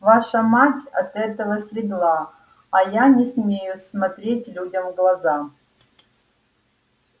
ваша мать от этого слегла а я не смею смотреть людям в глаза